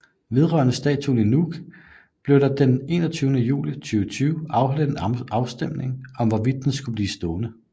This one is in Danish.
Vedrørende statuen i Nuuk blev der den 21 juli 2020 afholdt en afstemning om hvorvidt den skulle blive stående